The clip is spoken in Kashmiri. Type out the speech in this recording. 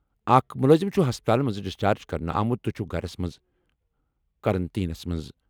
اَکھ مُلٲزِم چُھ ہَسپتالہٕ منٛزٕ ڈِسچارج کرنہٕ آمُت تہٕ چُھ گَھرس منٛز قرنطیٖنَس منٛز۔